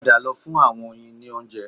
Padà lọ fún àwọn oyin ní oúnjẹ